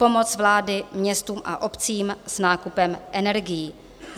Pomoc vlády městům a obcím s nákupem energií.